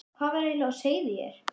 Hvað var eiginlega á seyði hér?